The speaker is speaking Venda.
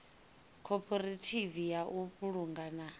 khophorethivi ya u vhulunga na